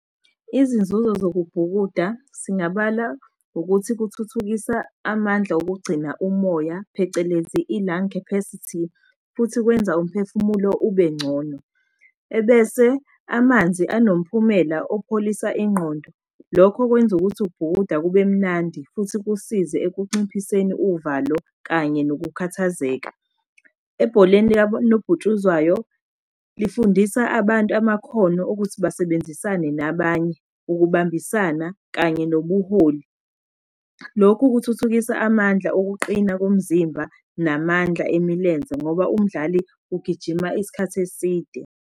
Izinzuzo zokubhukuda singabala ukuthi kuthuthukisa amandla okugcina umoya, phecelezi i-lung capacity, futhi kwenza umphefumulo ube ngcono. Ebese amanzi anomphumela opholisa ingqondo. Lokhu okwenza ukuthi ukubhukuda kube mnandi futhi kusize ekunciphiseni uvalo kanye nokukhathazeka. Ebholeni likanobhutshuzwayo lifundisa abantu amakhono okuthi basebenzisane nabanye, ukubambisana kanye nobuholi. Lokhu kuthuthukisa amandla okuqina komzimba namandla emilenze ngoba umdlali ugijima isikhathi eside.